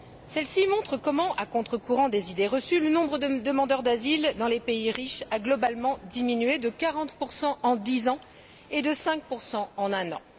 Celle ci montre comment, à contre courant des idées reçues, le nombre de demandeurs d'asile dans les pays riches a globalement diminué de 40 en dix ans et de 5 en un an.